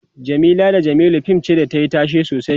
Jamila da jamilu fim ce da tayi tashe sosai